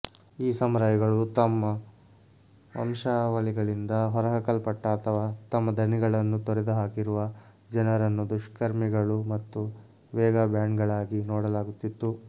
ಈ ಸಮುರಾಯ್ಗಳು ತಮ್ಮ ವಂಶಾವಳಿಗಳಿಂದ ಹೊರಹಾಕಲ್ಪಟ್ಟ ಅಥವಾ ತಮ್ಮ ಧಣಿಗಳನ್ನು ತೊರೆದುಹಾಕಿರುವ ಜನರನ್ನು ದುಷ್ಕರ್ಮಿಗಳು ಮತ್ತು ವೇಗಾಬ್ಯಾಂಡ್ಗಳಾಗಿ ನೋಡಲಾಗುತ್ತಿತ್ತು